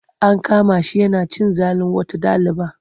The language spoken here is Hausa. An kama shi yana cin zalin wata ɗaliba.